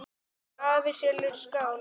Afi er sjálfur skáld.